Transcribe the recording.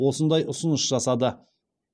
осындай ұсыныс жасады